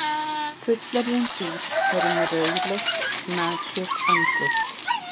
Fullorðin dýr eru með rauðleitt nakið andlit.